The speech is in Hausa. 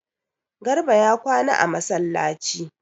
Garba ya kwana a masallaci